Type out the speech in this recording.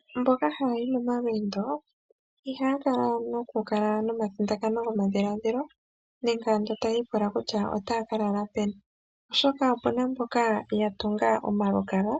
Aantu mboka ha ya yi momalweendo ihaya kala taya i pula kutya otaya ka lala peni oshoka opena omalukalwa ngoka geli gatungwa po onomena wina